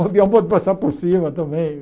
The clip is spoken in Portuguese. O avião pode passar por cima também.